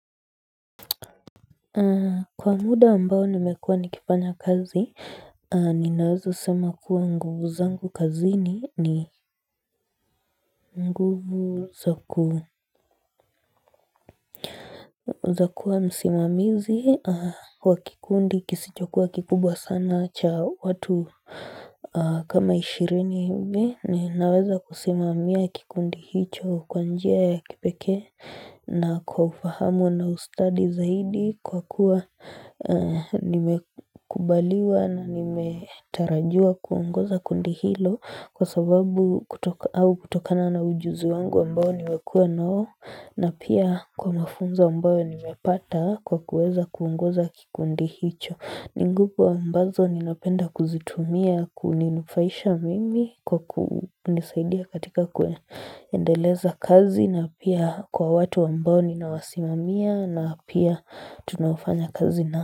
Kwa muda ambao nimekua nikifanya kazi, ninaweza sema kuwa nguvu zangu kazi ni nguvu nitakuwa msimamizi wa kikundi kisichokuwa kikubwa sana cha watu. Kama ishirini hivi ninaweza kusimamia kikundi hicho kwa njia ya kipekee na kwa ufahamu na ustadi zaidi kwa kuwa nimekubaliwa na nimetarajiwa kuungoza kundi hilo kwa sababu kutoka au kutokana na ujuzi wangu ambao nimekua nao na pia kwa mafunzo ambao nimepata kwa kuweza kuongoza kikundi hicho ni nguvu ambazo ninapenda kuzitumia kuninufaisha mimi kwa kunisaidia katika kuendeleza kazi na pia kwa watu ambao ninawasimamia na pia tunafanya kazi na.